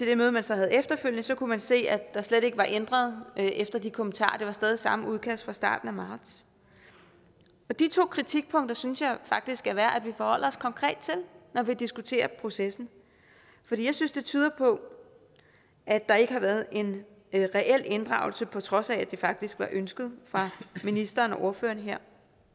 det møde man så havde efterfølgende kunne man se at der slet ikke var ændret efter de kommentarer det var stadig væk samme udkast fra starten af marts de to kritikpunkter synes jeg faktisk det er værd at vi forholder os konkret til når vi diskuterer processen for jeg synes det tyder på at der ikke har været en reel inddragelse på trods af at det faktisk var ønsket fra ministeren og ordføreren her